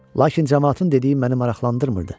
Lakin camaatın dediyi məni maraqlandırmırdı.